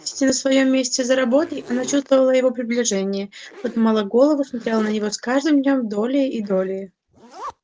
сидя на своём месте за работой она чувствовала его приближение подымала голову смотрела на него с каждым днём долее и долее